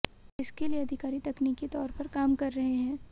इसके लिए अधिकारी तकनीकी तौर पर काम कर रहे हैं